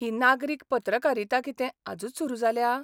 ही नागरीक पत्रकारिता कितें आजूच सुरू जाल्या?